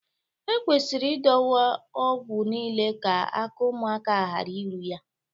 Ekwesịrị idowe ọgwụ niile ka aka ụmụaka ghara iru ya